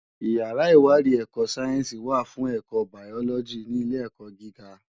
Iyàrá iwàdí èkò sáyènsí wá fún èkò báyòlògí ni ilé èkò gigá